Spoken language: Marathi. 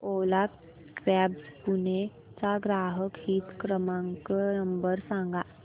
ओला कॅब्झ पुणे चा ग्राहक हित क्रमांक नंबर सांगा